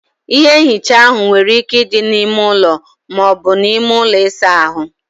Ihe nhicha áhụ nwere ike ịdị na ímé ụlọ, maọbu na ime ụlọ ịsa ahụ